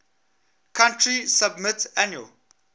country submit annual